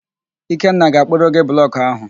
Ikenna ga-akpụrụ gị blọkụ ahụ.